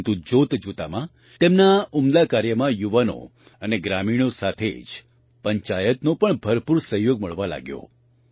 પરંતુ જોતજોતામાં તેમના આ ઉમદા કાર્યમાં યુવાનો અને ગ્રામીણો સાથે જ પંચાયતનો પણ ભરપૂર સહયોગ મળવા લાગ્યો